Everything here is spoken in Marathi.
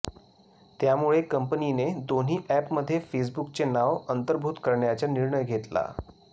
त्यामुळे कंपनीने दोन्ही अॅपमध्ये फेसबुकचे नाव अंतर्भुत करण्याचा निर्णय घेतला